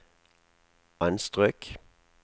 anstrøk